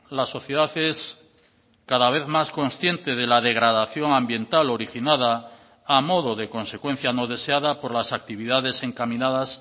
la sociedad es cada vez más consciente de la degradación ambiental originada a modo de consecuencia no deseada por las actividades encaminadas